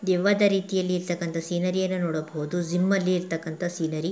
ದೆವ್ವದ ರೀತಿಯಲ್ಲಿ ಇರ್ತಕನಂತಹ ಸಿನೇರಿ ಅನ್ನು ನೋಡಬಹುದು ಜಿಮ್ ಅಲ್ಲಿ ಇರ್ತಕ್ಕಂತಹ ಸಿನೇರಿ.